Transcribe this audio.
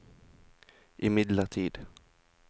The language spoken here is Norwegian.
imidlertid